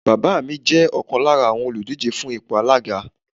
Bàbá mi jẹ́ ọ̀kan lára àwọn òlùdíje fún ipò alága